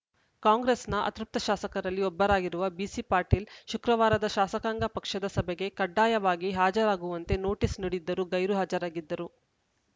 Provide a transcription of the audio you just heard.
ಕಾಂಗ್ರೆಸ್‌ನ ಅತೃಪ್ತ ಶಾಸಕರಲ್ಲಿ ಒಬ್ಬರಾಗಿರುವ ಬಿಸಿ ಪಾಟೀಲ್‌ ಶುಕ್ರವಾರದ ಶಾಸಕಾಂಗ ಪಕ್ಷದ ಸಭೆಗೆ ಕಡ್ಡಾಯವಾಗಿ ಹಾಜರಾಗುವಂತೆ ನೋಟಿಸ್‌ ನೀಡಿದ್ದರೂ ಗೈರು ಹಾಜರಾಗಿದ್ದರು